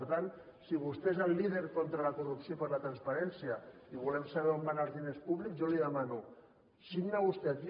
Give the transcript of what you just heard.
per tant si vostè és el líder contra la corrupció i per la transparència i volem saber on van anar els diners públics jo li demano signa vostè aquí